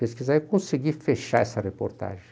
pesquisar, eu consegui fechar essa reportagem.